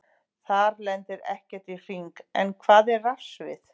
Þar lendir ekkert í hring, en hvað er rafsvið?